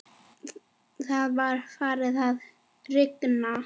Það var farið að rigna.